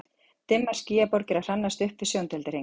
Dimmar skýjaborgir að hrannast upp við sjóndeildarhring.